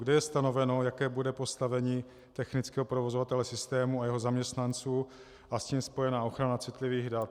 Kde je stanoveno, jaké bude postavení technického provozovatele systému a jeho zaměstnanců a s tím spojená ochrana citlivých dat?